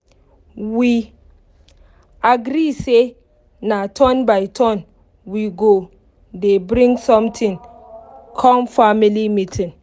we agree say na turn by turn we go dey bring something come family meeting